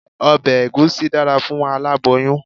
Ọbẹ̀ Ẹ̀gúsí dára fún aláboyún.